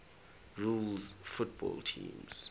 rules football teams